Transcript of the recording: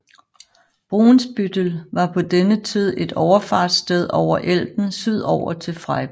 Brunsbüttel var på denne tid et overfartssted over Elben sydover til Freiburg